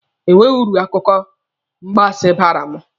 Enweghị uru akụkọ mgbansi baara m